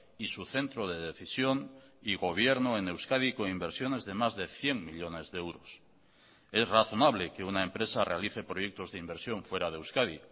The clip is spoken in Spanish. y su centro de decisión y gobierno en euskadi con inversiones de más de cien millónes de euros es razonable que una empresa realice proyectos de inversión fuera de euskadi